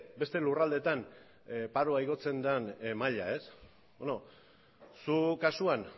beste lurraldetan paroa igotzen den maila zu kasuan